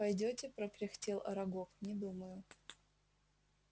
пойдёте прокряхтел арагог не думаю